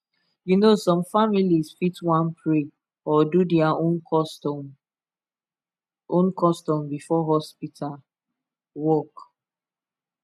you know some families fit want pray or do their own custom own custom before hospital work